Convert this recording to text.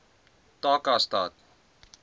takastad